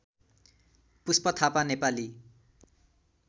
Pushpa Thapa Nepali